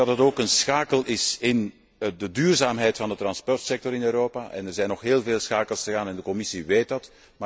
Het is ook een schakel in de duurzaamheid van de vervoerssector in Europa en er zijn nog heel veel schakels te gaan en de Commissie weet dat.